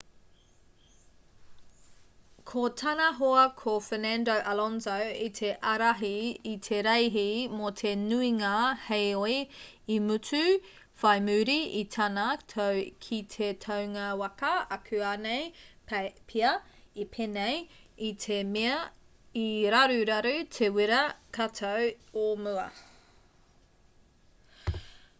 ko tana hoa ko fernando alonso i te ārahi i te reihi mō te nuinga heoi i mutu whai muri i tana tau ki te taunga waka akuanei pea i pēnei i te mea i raruraru te wīrā katau o mua